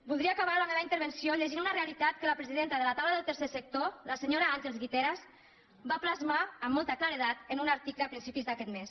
voldria acabar la meva intervenció llegint una realitat que la presidenta de la taula del tercer sector la senyora àngels guiteras va plasmar amb molta claredat en un article a principis d’aquest mes